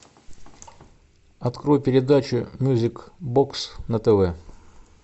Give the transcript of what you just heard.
открой передачу мьюзик бокс на тв